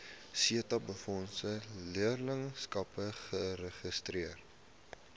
setabefondse leerlingskappe geregistreer